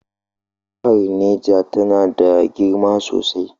Jihar Neja tana da girma sosai.